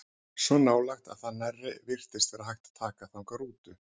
Svo nálægt að nærri virtist vera hægt að taka þangað rútu.